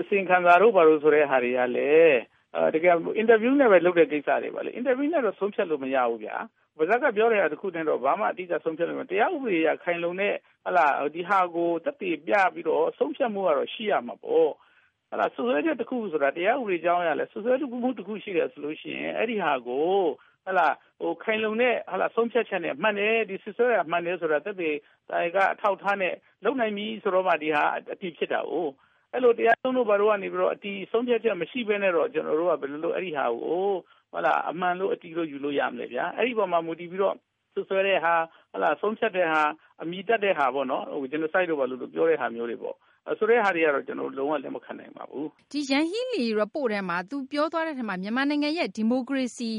အစီရင်ခံစာတို့ဘာတို့ဆိုတာတွေက တကယ် အင်တာဗျူးနဲ့ပဲ လုပ်တဲ့ကိစ္စတွေပါပဲ။ ဒီ အင်တာဗျူးနဲ့တော့ ဆုံးဖြတ်လို့မရဘူးခင်ဗျ။ ပါးစပ်က ပြောတဲ့တခုနဲ့တော့ ဘာမှ အတိအကျ ဆုံးဖြတ်လို့မရဘူးခင်ဗျ။ တရားဥပဒေအရ ခိုင်လုံတဲ့ ဒီဟာကို သက်သေပြပြီးတော့ ဆုံးဖြတ်မှုကတော့ ရှိရမှာပေါ့။ စွပ်စွဲချက်တခုခုဆိုတာက တရားဥပေဒကြောင်းအရလည်း စွပ်စွဲတာ တခုရှိတယ်ဆိုရင် အဲဒါကို ခိုင်လုံတဲ့ ဆုံးဖြတ်ချက်နဲ့ စွပ်စွဲတာ မှန်တယ်ဆိုတဲ့ သက်သေအထောက်အထားနဲ့ လုပ်နိုင်ပြီဆိုတော့မှ ဒါက အတည်ဖြစ်တာကို။ အဲဒီလို တရားရုံးတို့ဘာတို့ကနေ ဆုံးဖြတ်ချက် အတည်မရှိပဲနဲ့ ကျနော်တို့က အဲဒါကို ဘယ်လို အမှန်လို့ ယူလို့ရမလဲခင်ဗျ။ အဲဒီအပေါ်မှာ မူတည်ပြီးတော့စွပ်စွဲတာ ဆုံးဖြတ်တာ အမည်တပ်တာဆိုတာမျိုးတွေပေါ့ ကျနော်တို့ကတော့ လုံးဝလက်မခံနိုင်ပါဘူး။ မသိင်္ဂ ီထိုက် ။ ။ ယန်ဟီးလီ Report ထဲမှာ မြန်မာနိုင်ငံ ဒီမိုကရေစီ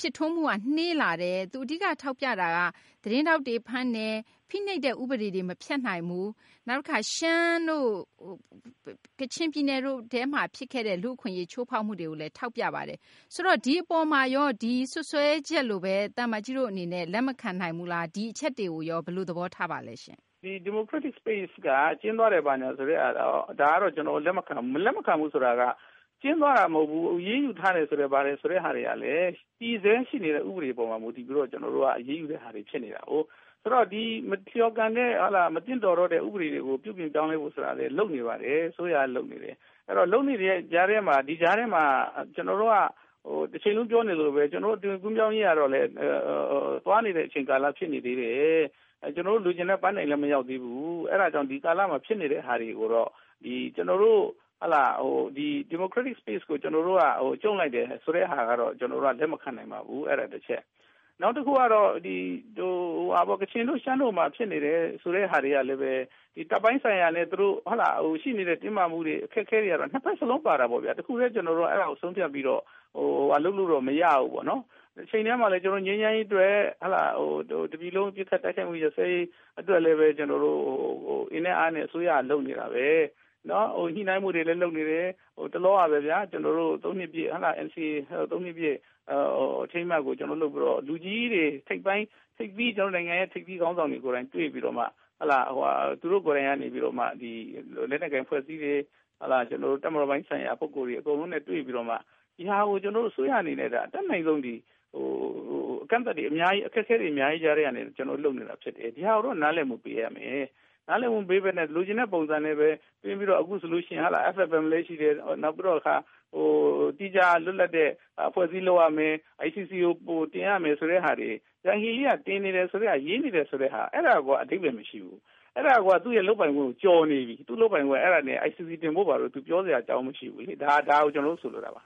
ဖြစ်ထွန်းမှုကနှေးလာတယ် သူအဓိကထောက်ပြတာက သတင်းထောက်တွေဖမ်းတယ်။ ဖိနှိပ်တဲ့ ဥပဒေတွေမဖြတ်နိုင်ဘူး။ နောက်တခါ ရှမ်းတို့ ကချင်ပြည်နယ်တို့မှာဖြစ်ခဲ့တဲ့ လူ့အခွင့်အရေးချိုးဖောက်မှုတွေကို ထောက်ပြပါတယ်။ ဆိုတော့ ဒီအပေါ်မှာရော ဒီစွပ်စွဲချက်လိုပဲ သံအမတ်ကြီးအနေနဲ့ လက်မခံနိုင်ဘူးလား။ ဒီအချက်တွေကိုရော ဘယ်လိုသဘောထားပါသလဲ။ သံအမတ်ကြီး ဟောက်ဒိုဆွမ်း။ ။ Democratic Space က ကျဉ်းသွားတယ်ဆိုတာကို ကျနော်လက်မခံဘူး။ လက်မခံဘူးဆိုတာက ကျဉ်းသွားတာမဟုတ်ဘူး အရေးယူထားတာတွေဆိုတာကလည်း တည်ဆဲဥပဒေပေါ်မှာမူတည်ပြီးတော့ အရေးယူတာတွေဖြစ်နေတာကို။ ဆိုတော့ မလျော်ကန်တော့တဲ့ ဥပဒေတွေကို ပြုပြင်ပြောင်းလဲဖို့ဆိုတာကလည်း အစိုးရကလုပ်နေပါတယ်။ အဲဒီတော့ ဒီကြားထဲမှာ ကျနော်တို့က တချိန်လုံးပြောနေလို့ မဖြစ်ဘူး အသွင်ကူးပြောင်းရေးကလည်း သွားနေတဲ့ ကာလဖြစ်နေသေးတယ်။ ကျနော်တို့လိုချင်တဲ့ ပန်းတိုင်လည်း မရောက်သေးဘူး။ အဲဒါကြောင့် ဒီကာလမှာ ဖြစ်နေတဲ့ဟာတွေကိုတော့ Democratic Space ကို ကျုံ့လိုက်တယ်ဆိုတာကိုတော့ ကျနော်တို့လက်မခံနိုင်ပါဘူး အဲဒါတချက်။ နောက်တခုကတော့ ကချင်တို့ ရှမ်းတို့မှာဖြစ်နေတာတွေကလည်း တပ်ပိုင်းဆိုင်ရာ တင်းမာမှုတွေ အခက်အခဲတွေကတော့ ၂ ဖက်စလုံးပါတာပေါ့နော်။ တခုတည်း ကျနော်တို့အဲဒါကို ဆုံးဖြတ်ပြီးတော့ လုပ်လို့မရဘူး။ တချိန်တည်းမှာလည်း ငြိမ်းချမ်းရေး အတွက် တနိုင်ငံလုံး အပစ်အခတ်တိုက်ခိုက်မှု ရပ်ရေးအတွက်လည်း အင်နဲ့အားနဲ့ အစိုးရက လုပ်နေတာပဲ။ ညှိနှိုင်းမှုတွေလည်းလုပ်နေတယ် တလောကပဲ NCA ၃ နှစ်ပြည့်အထိမ်းအမှတ်ကို လုပ်ပြီးတော့ ကျနော်တို့ နိုင်ငံထိပ်သီးခေါင်းဆောင်တွေ ကိုယ်တိုင်တွေ့ပြီးတော့ လက်နက်ကိုင်အဖွဲ့အစည်းတွေ တပ်မတော်ပိုင်းဆိုင်ရာတွေ တွေ့ပြီးတော့မှ ဒါကိုအစိုးရက အတတ်နိုင်ဆုံး အကန့်အသတ်တွေ၊ အခက်အခဲတွေ အများကြီးထဲက လုပ်နေတာဖြစ်တယ်။ ဒါကိုတော့ နားလည်မှုပေးရမယ်။ နားလည်မှုမပေးပဲနဲ့ လိုချင်တဲ့ပုံစံနဲ့သွင်းပြီး အခုဆိုရင် FFM လည်းရှိတယ်၊ သီးခြားလွတ်လပ်တဲ့ အဖွဲ့အစည်းလုပ်ရမယ် ၊ ICC ကိုတင်ရမယ် ဆိုတာက အဲဒါကိုက အဓိပ္ပါယ်မရှိဘူး။ အဲဒါက သူ့လုပ်ပိုင်ခွင့်ကို ကျော်နေပြီ ၊ ICC တင်ဖို့က ပြောစရာအကြောင်းမရှိဘူး ဒါကို ကျနော်တို့ ဆိုလိုတာပါ